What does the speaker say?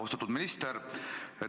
Austatud minister!